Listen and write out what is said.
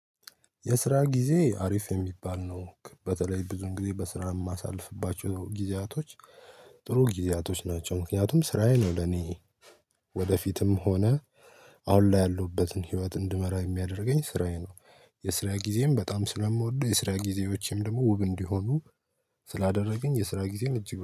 የስራ ጊዜ አሪፍ የሚባል ነው በተለይ ብዙ እንግዲህ በስራ የማሳልፍባቸው ጊዜያቶች። ጥሩ ጊዜያቶች ናቸው ምክንያቱም ስራዬ ነው ለኔ ወደፊትም ሆነ አሁን ላይ ያለውበትን ህይወት እንድመራ የሚያደርገኝ ስራዬ ነው። የስራ ጊዜም በጣም ስለምወድ የስራ ጊዜዎቼም ደግሞ ውብ እንዲሆኑ ስላደረገኝ የስራ ጊዜን እጅግ